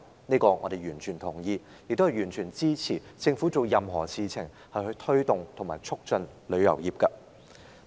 此外，我們完全支持政府做任何事情促進旅遊業發展。